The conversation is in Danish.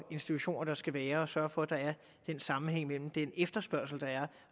institutioner der skal være og sørge for at der er sammenhæng mellem den efterspørgsel der er